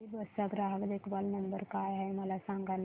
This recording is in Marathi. अभिबस चा ग्राहक देखभाल नंबर काय आहे मला सांगाना